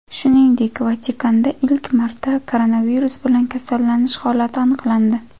Shuningdek, Vatikanda ilk marta koronavirus bilan kasallanish holati aniqlandi .